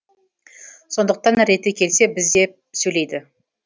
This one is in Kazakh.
сондықтан реті келсе біз деп сөйлейді